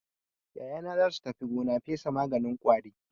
Yayana za su tafi gona fesa maganin ƙwari.